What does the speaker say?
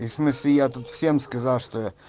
в смысле я тут всем сказал что